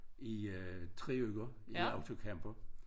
I øh 3 uger i autocamper